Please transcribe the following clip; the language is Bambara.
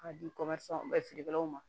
K'a di feerelaw ma